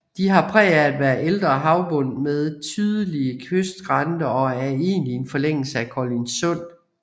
De har præg af at være ældre havbund med tydelige kystskrænter og er egentlig en forlængelse af Kolindsund